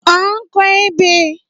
À ń kọ ebè